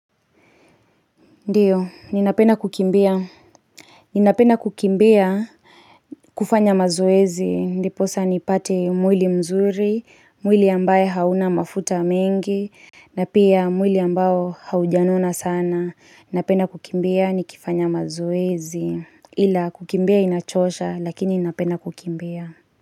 Ndiyo, ninapenda kukimbia. Ninapenda kukimbia kufanya mazoezi. Ndiposa nipate mwili mzuri, mwili ambaye hauna mafuta mengi, na pia mwili ambao haujanona sana. Napenda kukimbia nikifanya mazoezi. Ila kukimbia inachosha, lakini ninapenda kukimbia.